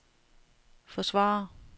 forsvare